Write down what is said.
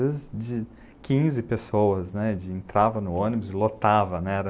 Às vezes, quinze pessoas, né, entravam no ônibus e lotavam, né.